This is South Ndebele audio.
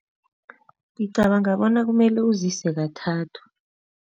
Ngicabana bona kumele uzise kathathu.